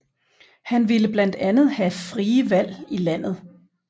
Han ville blandt andet have frie valg i landet